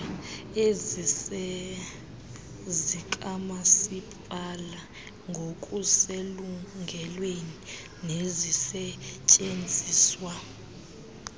ezizezikamasipala ngokuselungelweni nezisetyenziswa